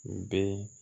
U bɛ